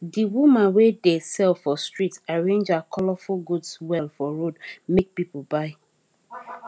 the woman wey dey sell for street arrange her colourful goods well for road make people buy